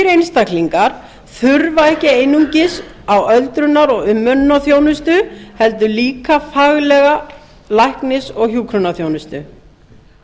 einstaklingar þurfa ekki einungis öldrunar og umönnunarþjónustu heldur líka faglega læknis og hjúkrunarþjónustu